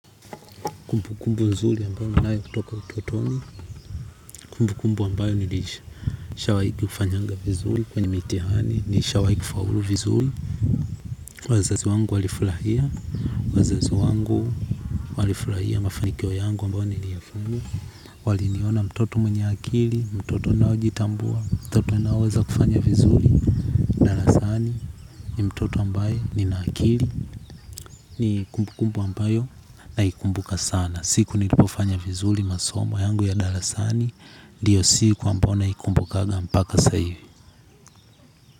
Kumbu kumbu nzuri ambayo ninayo kutoka utotoni. Kumbu kumbu ambayo nilisha. Nishawahi kufanyanga vizuri kwenye mitihani nishawahi kufaulu vizuri. Wazazi wangu walifurahia. Wazazi wangu walifurahia mafanikio yangu ambayo niliyafuzu. Waliniona mtoto mwenye akili. Mtoto nao jitambua. Mtoto nao weza kufanya vizuri. Darasani ni mtoto ambaye nina akili. Ni kumbu kumbu ambayo naikumbuka sana. Na siku nilipofanya vizuri masomo yangu ya darasani. Ndio siku ambayo naikumbukaga mpaka saa hivi.